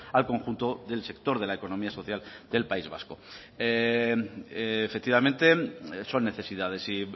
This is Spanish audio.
al conjunto del sector de la economía social del país vasco efectivamente son necesidades y